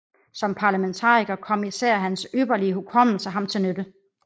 Som parlamentariker kom især hans ypperlige hukommelse ham til nytte